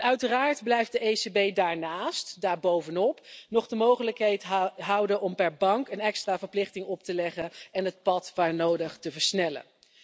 Uiteraard blijft de ECB daarnaast, daarbovenop, nog de mogelijkheid houden om per bank een extra verplichting op te leggen en het pad waar nodig te versnellen.